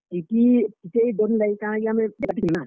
TTE ।